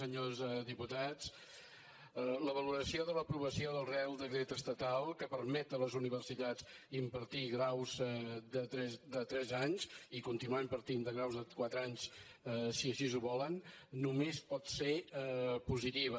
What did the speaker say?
senyors diputats la valoració de l’aprovació del reial decret estatal que permet a les universitats impartir graus de tres anys i continuem partint de graus de quatre anys si així ho volen només pot ser positiva